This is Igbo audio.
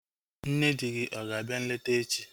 Nne di gị ọ ga-abịa nleta echi?